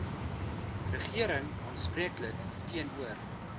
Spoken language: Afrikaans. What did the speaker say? regering aanspreeklik teenoor